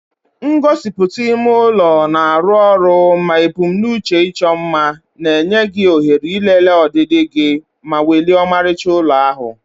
Ngosipụta ime ụlọ na-arụ ọrụ ma ebumnuche ịchọ mma, na-enye gị ohere ịlele ọdịdị gị ma welie ọmarịcha ụlọ ahụ.